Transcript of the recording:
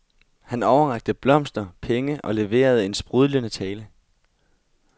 Han overrakte blomster, penge og leverede en sprudlende tale.